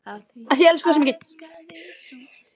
Af því ég elska þig svo mikið.